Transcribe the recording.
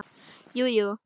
Jú, jú.